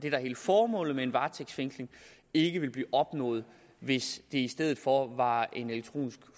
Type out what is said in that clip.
er hele formålet med en varetægtsfængsling ikke vil blive opnået hvis det i stedet for var en elektronisk